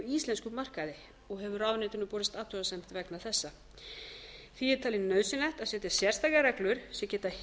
íslenskum markaði og hefur ráðuneytinu borist athugasemd vegna þessa því er talið nauðsynlegt að setja sérstakar reglur sem geta